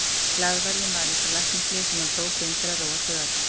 Glaðværðin var eins og læknislyf sem hann tók inn til að róa taugarnar.